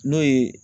N'o ye